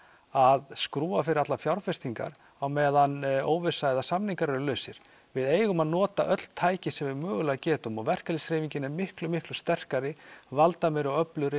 að skrúfa fyrir allar fjárfestingar á meðan óvissa eða samningar eru lausir við eigum að nota öll tæki sem við mögulega getum og verkalýðshreyfingin er miklu miklu sterkari valdameiri og öflugri